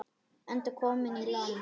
Enda kominn í land.